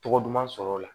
Tɔgɔ duman sɔrɔ o la